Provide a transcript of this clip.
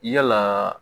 Yalaa